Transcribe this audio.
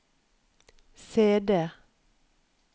CD